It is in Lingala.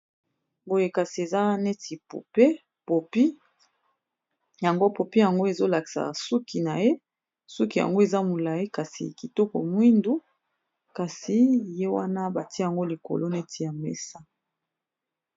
boyekasi eza neti pope popi yango popi yango ezolakisa suki na ye suki yango eza molai kasi kitoko mwindu kasi ye wana batia yango likolo neti ya mesa